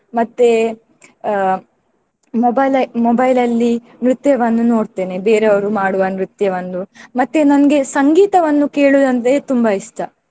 ಮತ್ತೆ ಆ mobile mobile ಅಲ್ಲಿ ನ್ರತ್ಯವನ್ನು ನೋಡ್ತೇನೆ ಬೇರೆಯವರು ಮಾಡುವ ನ್ರತ್ಯವನ್ನು. ಮತ್ತೆ ನನ್ಗೆ ಸಂಗೀತವನ್ನು ಕೇಳುವುದಂದ್ರೆ ತುಂಬಾ ಇಷ್ಟ.